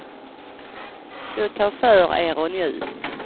Så ta för er och njut.